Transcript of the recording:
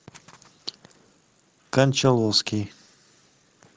кончаловский